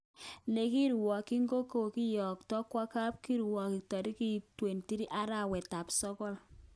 Nekirwokyin kewekto kwo kapkirwok torikit 23arawet tab sokol.